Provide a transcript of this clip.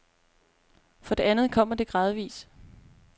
For det andet kommer det gradvis.